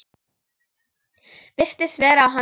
Virtist vera á hans aldri.